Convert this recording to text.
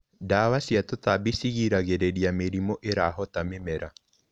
Ndawa cia tũtambi cigiragĩrĩria mĩrimũ ĩrahota mĩmera.